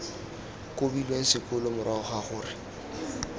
kobilweng sekolo morago ga gore